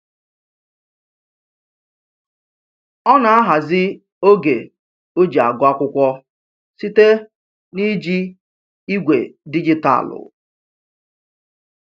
Ọ na-ahazi oge o ji agụ akwụkwọ site na-iji igwe dijitaalụ